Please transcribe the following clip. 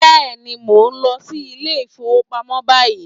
Yes, I am going to the bank now